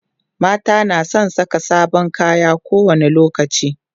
mata na San Saka sabon kaya ko wani lokaci